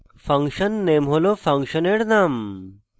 function _ name হল ফাংশনের name